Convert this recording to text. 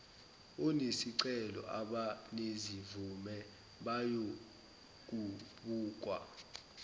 onesicelo abanezimvume bayobukwa